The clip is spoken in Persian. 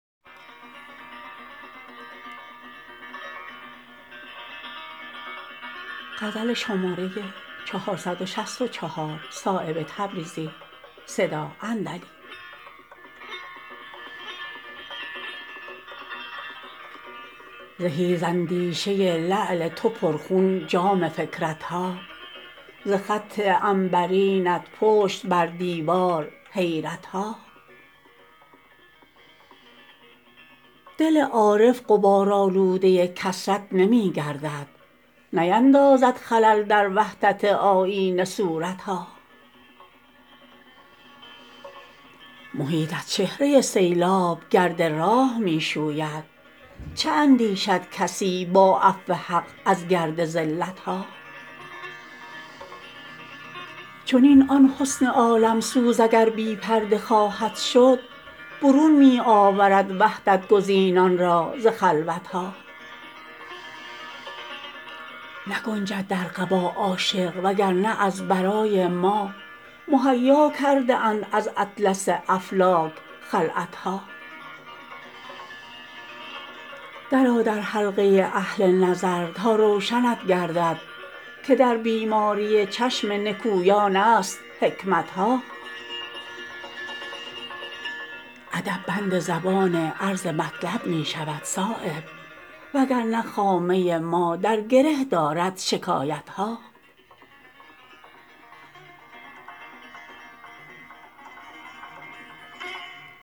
زهی ز اندیشه لعل تو پرخون جام فکرت ها ز خط عنبرینت پشت بر دیوار حیرت ها دل عارف غبارآلوده کثرت نمی گردد نیندازد خلل در وحدت آیینه صورت ها محیط از چهره سیلاب گرد راه می شوید چه اندیشد کسی با عفو حق از گرد زلت ها چنین آن حسن عالم سوز اگر بی پرده خواهد شد برون می آورد وحدت گزینان را ز خلوت ها نگنجد در قبا عاشق وگرنه از برای ما مهیا کرده اند از اطلس افلاک خلعت ها درآ در حلقه اهل نظر تا روشنت گردد که در بیماری چشم نکویان است حکمت ها ادب بند زبان عرض مطلب می شود صایب وگرنه خامه ما در گره دارد شکایت ها